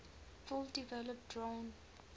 fully developed drawn